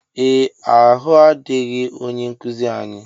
Ee ahụadịghị ónyé nkụzi anyị.